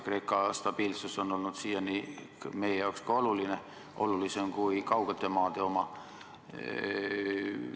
Kreeka stabiilsus on olnud siiani meie jaoks oluline, olulisem kui kaugete maade oma.